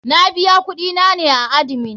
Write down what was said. Na biya kuɗi na ne a admin.